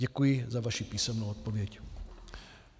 Děkuji za vaši písemnou odpověď.